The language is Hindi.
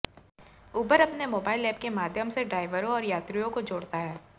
उबर अपने मोबाइल ऐप के माध्यम से ड्राइवरों और यात्रियों को जोड़ता है